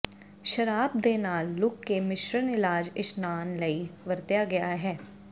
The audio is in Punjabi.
ਸ਼ਰਾਬ ਦੇ ਨਾਲ ਲੁੱਕ ਦੇ ਮਿਸ਼ਰਣ ਇਲਾਜ ਇਸ਼ਨਾਨ ਲਈ ਵਰਤਿਆ ਗਿਆ ਹੈ